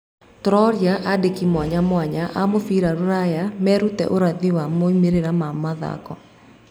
Tũroria andĩkĩ mwanya mwanya a mũbira rũraya maruten ũrathi wa moimĩrira ma mathako.